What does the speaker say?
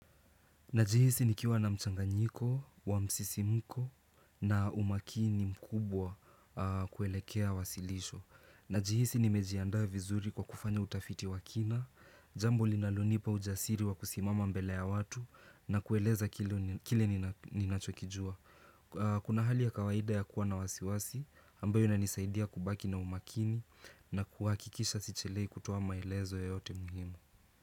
Najihisi nikiwa na mchanganyiko, wa msisimiko na umakini mkubwa kuelekea wasilisho. Najihisi nimejiandaa vizuri kwa kufanya utafiti wa kina, jambo linalonipa ujasiri wa kusimama mbele ya watu na kueleza kile ninachokijua. Kuna hali ya kawaida ya kuwa na wasiwasi, ambayo inanisaidia kubaki na umakini na kuhakikisha sichelewi kutowa maelezo yoyote muhimu.